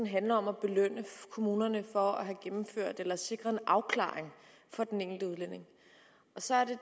handler om at belønne kommunerne for at have gennemført eller sikret en afklaring for den enkelte udlænding så er det